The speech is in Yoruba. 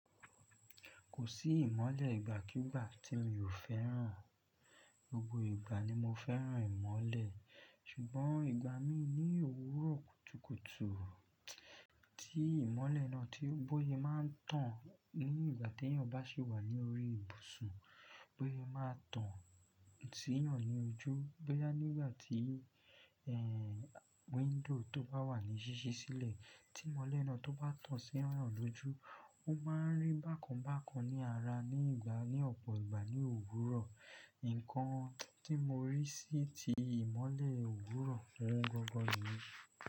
Kò sí ìmọ́lẹ̀ ìgbàkígbà tí mi ò fẹ́ràn. Gbogbo ìgbà ni mo fẹ́ràn ìmọ́lẹ̀ ṣùgbọ́n ìgbà mí ní òwúrọ̀ kùtùkùtù tí ìmọ́lẹ̀ náà tí ó bọ́ yẹn máa ń tàn ní ìgbà tí èèyàn ò bá sì wà ní orí ìbùsùn bó se máa tàn sí èèyàn ní ojú, bóyá nígbà tí window tó bá wà ní ṣíṣí sílẹ̀, tí ìmọ́lẹ̀ náà tó bá tàn sí èèyàn lójú, ó máa ń rí bákan bákan ní ara ní ọ̀pọ̀ ìgbà ní òwúrọ̀. Ǹǹkan tí mo rí sí ti ìmọ́lẹ̀ òwúrọ̀ ouń gangan niyen.